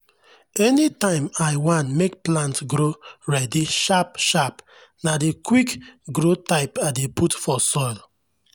anytime i wan make plant grow ready sharp-sharp na the quick-grow type i dey put for soil.